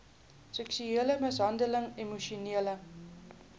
seksuele mishandeling emosionele